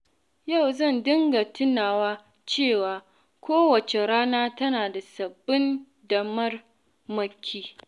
Yau zan dinga tunawa cewa kowace rana tana da sabbin damarmaki.